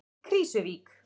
Krýsuvík